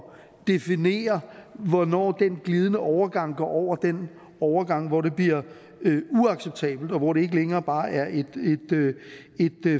definere hvornår den glidende overgang går over den overgang hvor det bliver uacceptabelt og hvor det ikke længere bare er et